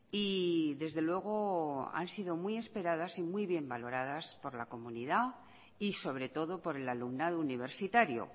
y desde luego han sido muy esperadas y muy bien valoradas por la comunidad y sobre todo por el alumnado universitario